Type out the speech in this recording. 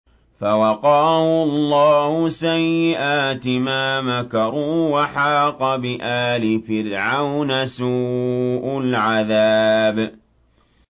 فَوَقَاهُ اللَّهُ سَيِّئَاتِ مَا مَكَرُوا ۖ وَحَاقَ بِآلِ فِرْعَوْنَ سُوءُ الْعَذَابِ